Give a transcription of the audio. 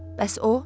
Bəs o?